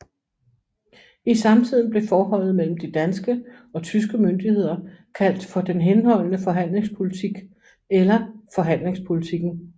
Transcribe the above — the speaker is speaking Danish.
I samtiden blev forholdet mellem de danske og tyske myndigheder kaldt for den henholdende forhandlingspolitik eller forhandlingspolitikken